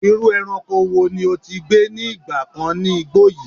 Iru eranko wo ni o ti gbe ni igba kan ni igbo yi?